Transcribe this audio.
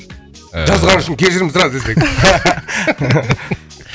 ыыы жазғаның үшін кешірім сұра десең